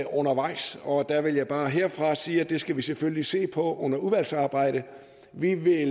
undervejs og jeg vil bare herfra sige at det skal vi selvfølgelig se på under udvalgsarbejdet vi vil